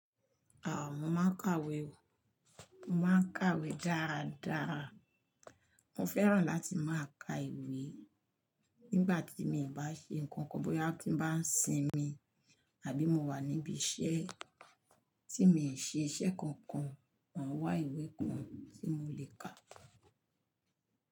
Haa mo máa ń kàwé o. Mo máa ń kàwé dáada. Mo fẹ́ràn láti máa ka ìwé nígbà tí mi ò bá ṣe nǹkan kan, bóyá tí n bá ń sinmi àbí mo wà níbi iṣẹ́ tí mi ṣe iṣẹ́ kankan, máa wá ìwé kan tí mo lè kà.